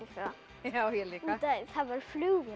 það ég líka út af því það værir flugvél